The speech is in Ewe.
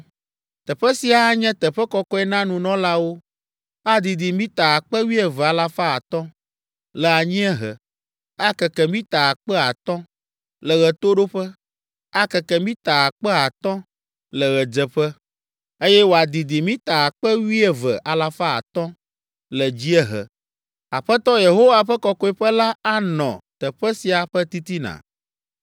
Teƒe sia anye teƒe kɔkɔe na nunɔlawo. Adidi mita akpe wuieve alafa atɔ̃ (12,500) le anyiehe, akeke mita akpe atɔ̃ (5,000) le ɣetoɖoƒe, akeke mita akpe atɔ̃ (5,000) le ɣedzeƒe, eye wòadidi mita akpe wuieve alafa atɔ̃ (12,500) le dziehe. Aƒetɔ Yehowa ƒe Kɔkɔeƒe la anɔ teƒe sia ƒe titina.